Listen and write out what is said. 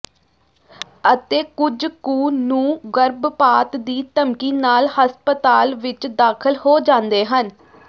ਅਤੇ ਕੁਝ ਕੁ ਨੂੰ ਗਰਭਪਾਤ ਦੀ ਧਮਕੀ ਨਾਲ ਹਸਪਤਾਲ ਵਿਚ ਦਾਖ਼ਲ ਹੋ ਜਾਂਦੇ ਹਨ